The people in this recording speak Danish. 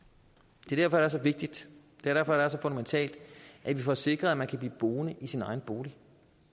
det er derfor det er så vigtigt det er derfor det er så fundamentalt at vi får sikret at man kan blive boende i sin egen bolig